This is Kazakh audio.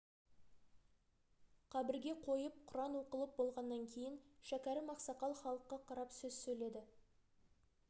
қабірге қойып құран оқылып болғаннан кейін шәкәрім ақсақал халыққа қарап сөз сөйледі